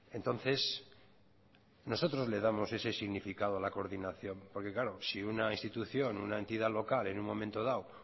entonces nosotros le damos ese significado a la coordinación porque claro si una institución una entidad local en un momento dado